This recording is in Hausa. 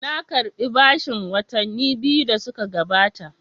Na karɓi bashin watanni biyu da suka gabata.